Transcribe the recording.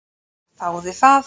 Ég þáði það.